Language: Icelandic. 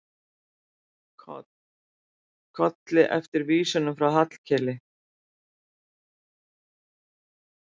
Kolli eftir vísunum frá Hallkeli.